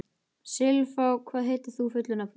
Silfá, hvað heitir þú fullu nafni?